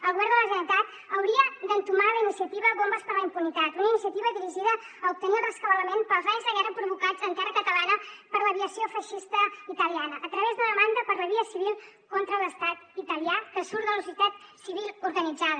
el govern de la generalitat hauria d’entomar la iniciativa bombes d’impunitat una iniciativa dirigida a obtenir el rescabalament pels danys de guerra provocats en terra catalana per l’aviació feixista italiana a través d’una demanda per la via civil contra l’estat italià que surt de la societat civil organitzada